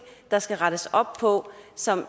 der skal rettes op på som